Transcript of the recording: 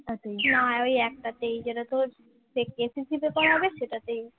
তোর SSC তে করাবে সেটাতেই